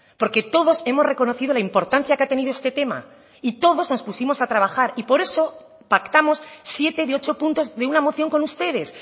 porque todos hemos reconocido la importancia que ha tenido este tema y todos nos pusimos a trabajar y por eso pactamos siete de ocho puntos de una moción con ustedes